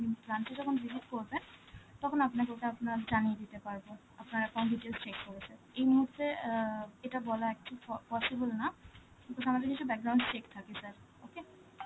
আপনি branch এ যখন visit করবেন, তখন আপনাকে ওটা আপনার জানিয়ে দিতে পারবো, আপনার accounts details check করে sir. এই মুহূর্তে অ্যাঁ এটা বলা একটু po~ possible না because আমাদের কিছু check থাকে sir, okay?